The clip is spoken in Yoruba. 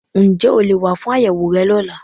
Ǹ jé o leè wá fún àyẹ̀wò rẹ lọ́la